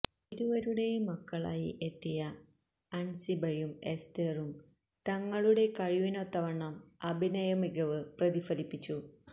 ഇരുവരുടെയും മക്കളായി എത്തിയ അന്സിബയും എസ്തേറും തങ്ങളുടെ കഴിവിനൊത്തവണ്ണം അഭിനയ മികവ് പ്രതിഫലിപ്പിച്ചു